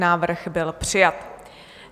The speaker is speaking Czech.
Návrh byl přijat.